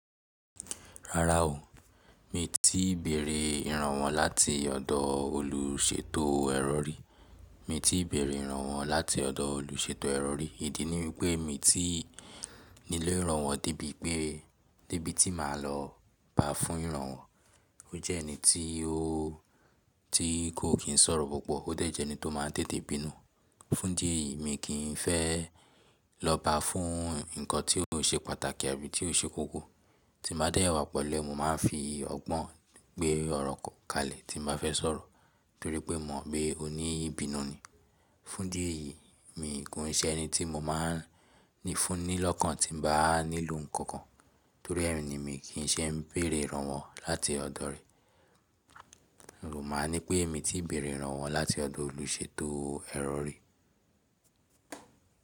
Rárá o, mi tí béèrè ìrànwọ́ láti ọ̀dọ̀ olùṣètò ẹrọ ri. Mi tí béèrè ìrànwọ́ láti ọ̀dọ̀ olùṣètò ẹrọ ri, ìdí ni wípé mi tí nílò ìrànwọ́ débi pé, débi tí màá lọ bá fún ìrànwọ́. Ó jẹ́ ẹni tí ó, tí kò kín sọ̀rọ̀ púpọ̀, ó dẹ̀ jẹ́ ẹni tó máa ń tètè bínú. Fún idi eyi mi kì n fẹ́ lọ bá fún nǹkan tí kò ṣe pàtàkì àbí tí ò ṣe kókó. Tí màá dẹ́ ìwà pẹ̀lú ẹ, mo máa ń fi ọgbọ́n gbé ọ̀rọ̀ kalẹ̀ tí m bá fẹ́ sọ̀rọ̀ torí pé mo mọ̀ pé ó ní ìbínú ni. Fún dídì mi kò ṣe ẹni tí mo máa ń ní fún ní lọ́kàn tí mo bá nílò nǹkan kan. Torí ẹ ni mi kì í ṣe ń béèrè ìrànwọ́ láti ọ̀dọ̀ rẹ̀. Mo máa ń ní pé mi tí béèrè ìrànwọ́ láti ọ̀dọ̀ olùṣètò ẹrọ rí.